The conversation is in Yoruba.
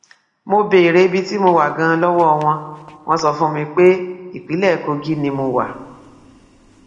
mo béèrè ibi tí mo wà ganan lọwọ wọn wọn sọ fún mi pé ìpínlẹ kogi ni mo wà